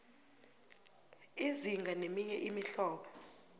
izinga neminye imihlobo